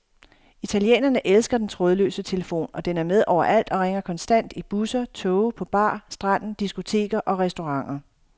Italienerne elsker den trådløse telefon, og den er med overalt og ringer konstant i busser, toge, på bar, stranden, diskoteker og restauranter.